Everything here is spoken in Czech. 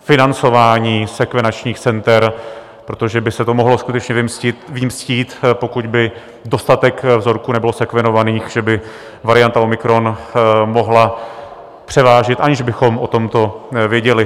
financování sekvenačních center, protože by se to mohlo skutečně vymstít, pokud by dostatek vzorků nebylo sekvenovaných, že by varianta omikron mohla převážit, aniž bychom o tomto věděli.